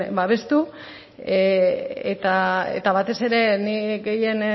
babestu eta batez ere nik gehien